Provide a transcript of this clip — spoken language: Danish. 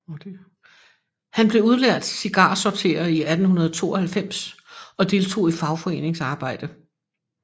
Han blev udlært cigarsorterer i 1892 og deltog i fagforeningsarbejde